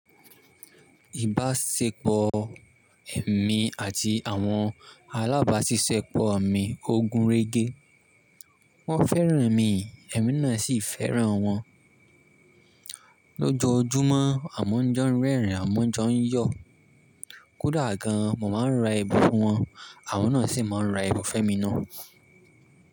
Ìbáṣepọ̀ èmi àti àwọn alábáṣiṣẹ́ pọ̀ mi, ogun rẹ́gẹ́. Wọ́n fẹ́ràn mi, èmi náà sì fẹ́ràn wọn. Lójojúmọ́ àmon jọ ń rẹ́rìn, àmọn jọ ń yọ̀. Kódà gan an mo máa ń ra ẹbun fún wọn, àwọn náà sì máa ń ra ẹbun fun emi náà.